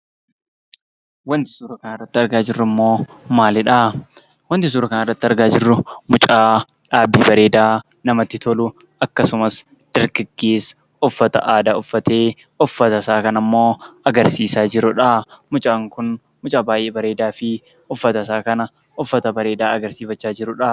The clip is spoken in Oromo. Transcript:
Wanti suura kanarratti argaa jirrummoo maalidhaa? wanti suura kanarratti argaa jirru mucaa dhaabbii bareedaa namatti tolu akkasumas dargaggeessa uffata aadaa uffatee uffatasaa kanammoo agarsiisaa jirudhaa. Mucaan kun mucaa baay'ee bareedaa fi uffatasaa kana uffata bareedaa agarsiifachaa jirudhaa.